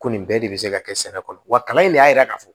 Ko nin bɛɛ de bɛ se ka kɛ sɛnɛ kɔnɔ wa kalan in ne y'a yira k'a fɔ